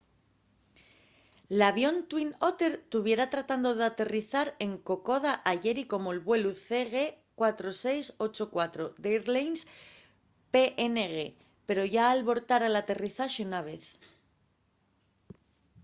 l’avión twin otter tuviera tratando d’aterrizar en kokoda ayeri como’l vuelu cg4684 d’airlines png pero yá albortara l’aterrizaxe una vez